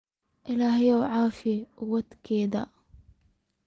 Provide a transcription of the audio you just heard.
Illahey hakucafiyo cuwatkadha.